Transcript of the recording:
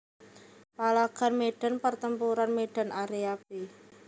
Palagan Medan Pertempuran Medan Area b